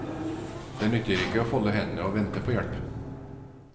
Det nytter ikke å folde hendene og vente på hjelp.